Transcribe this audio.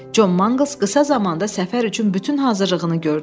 Con Manqals qısa zamanda səfər üçün bütün hazırlığını gördü.